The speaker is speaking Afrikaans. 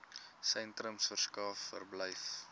sentrums verskaf verblyf